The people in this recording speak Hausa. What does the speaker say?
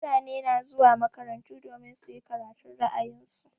Mutane na zuwa makarantu domin su yi karatun ra'ayin su.